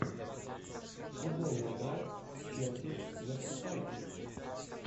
футбольная игра челси мерсисайдцы